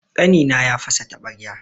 Ƙanina ya fasa taɓarya.